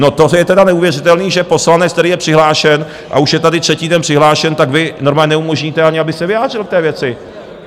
No, to je tedy neuvěřitelné, že poslanec, který je přihlášen a už je tady třetí den přihlášen, tak vy normálně neumožníte ani, aby se vyjádřil k té věci.